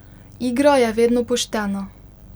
Igra je vedno poštena.